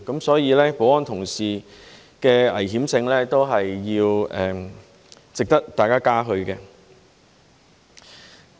所以，保安同事勇於面對危險性，也是值得大家嘉許的。